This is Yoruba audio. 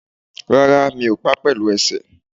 Rárá, mi ò pa pẹ̀lú ẹsẹ̀